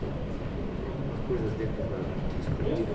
Tenho tenho tenho algumas coisas dentro da da vida esportiva.